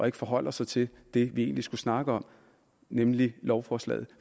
ikke forholder sig til det vi egentlig skulle snakke om nemlig lovforslaget